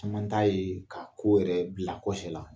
Caman ta yee ka ko yɛrɛ bila kɔsɛ la.